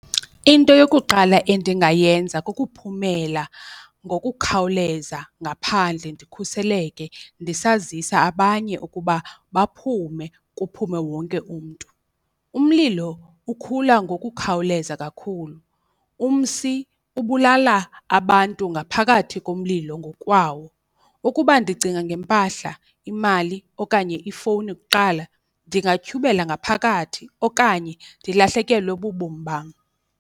Into yokuqala endingayenza kukuphumela ngokukhawuleza ngaphandle ndikhuseleke ndisazisa abanye ukuba baphume kuphume wonke umntu. Umlilo ukhula ngokukhawuleza kakhulu, umsi ubulala abantu ngaphakathi komlilo ngokwawo. Ukuba ndicinga ngempahla, imali okanye ifowuni kuqala ndingatyhubela ngaphakathi okanye ndilahlekelwe bubomi bam.